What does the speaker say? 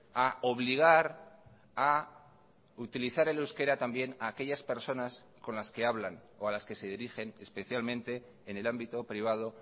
a obligar a utilizar el euskera también a aquellas personas con las que hablan o a las que se dirigen especialmente en el ámbito privado